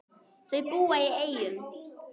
Þau búa í Eyjum.